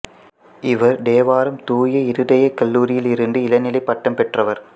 இவர் தேவாரம் தூய இருதயக் கல்லூரியில் இருந்து இளநிலைப் பட்டம் பெற்றார்